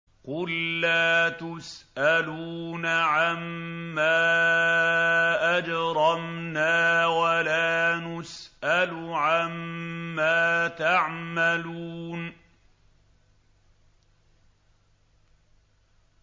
قُل لَّا تُسْأَلُونَ عَمَّا أَجْرَمْنَا وَلَا نُسْأَلُ عَمَّا تَعْمَلُونَ